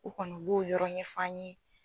U kɔni u b'o yɔrɔ ɲɛf'an ye.